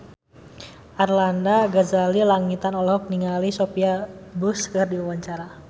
Arlanda Ghazali Langitan olohok ningali Sophia Bush keur diwawancara